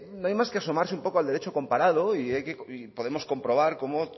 no hay más que asomarse un poco al derecho comparado y podemos comprobar como